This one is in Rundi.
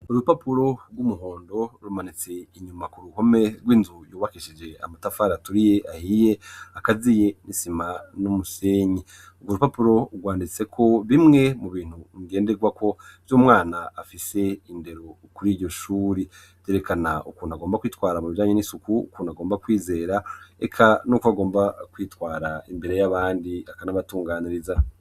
Urupapuro rw'umuhondo rumanitse inyuma ku ruhome rw'inzu yubakishije amatafari aturiye ahiye akaziye n'isima n'umusenyi. Urwo rupapuro rwanditseko bimwe mu bintu ngenderwako vy'umwana afise indero kuri iryo shuri, rwerekana ukuntu agomba kwitwara mu bijanye n'isuku, ukuntu agomba kwizera, eka n'uko bagomba kwitwara imbere y'abandi akanabatunganiriza.